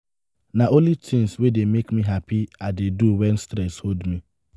na only tins wey dey make me hapi i dey do wen stress hold me.